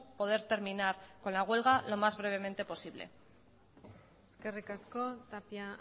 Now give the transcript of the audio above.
poder terminar con la huelga lo más brevemente posible eskerrik asko tapia